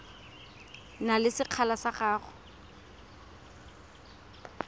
na le sekgala sa go